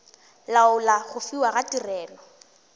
laola go fiwa ga tirelo